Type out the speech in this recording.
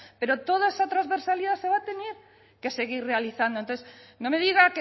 pero toda esa transversalidad se va a tener que seguir realizando entonces no me diga